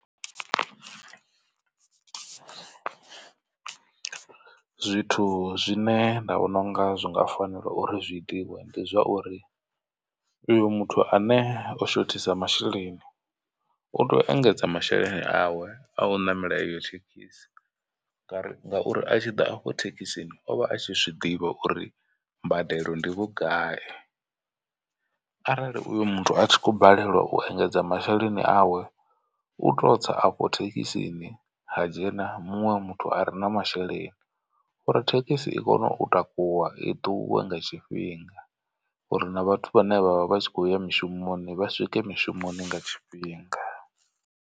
Zwi zwine nda vhona unga zwi nga fanela uri zwi itiwe ndi zwauri uyo muthu ane o shothisa masheleni u tea u engedza masheleni awe a u ṋamela iyo thekhisi. Ngauri ngauri a tshi ḓa afho thekhisini ovha a tshi zwiḓivha uri mbadelo ndi vhugai. Arali uyo muthu a tshi khou balelwa u engedza masheleni awe u to tsa afho thekhisini ha dzhena muṅwe muthu a re na masheleni u ri thekhisi i kone u takuwa i ṱuwe nga tshifhinga uri na vhathu vhane vha vha vha tshi kho ya mishumoni vha swike mushumoni nga tshifhinga.